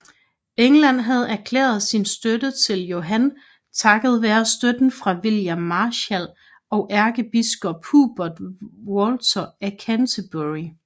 England havde erklæret sin støtte til Johan takket være støtten fra William Marshal og ærkebiskop Hubert Walter af Canterbury